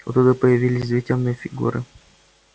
оттуда появились две тёмные фигуры